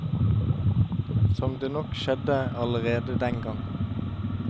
Som det nok skjedde allerede dengang.